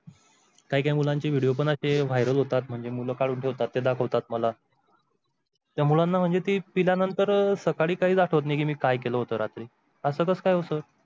काही काही मुलांचे video पण असे viral होतात म्हणजे मुलं काढून ठेवतात ते दाखवतात मला . त्यामुळे म्हणजे ती पिल्यानंतर सकाळी काही आठवत नाही मी काय केलं होतं रात्री असं काय होतं सर?